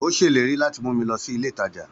Ó ṣèlérí láti mú mi lọ sílé ìtajà